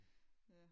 Ja